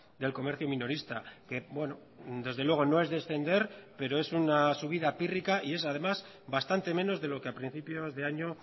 del comercio minorista que desde luego no es descender pero es una subida pírrica y es además bastante menos de lo que a principios de año